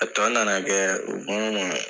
A tɔ na na kɛ kɔnɔ.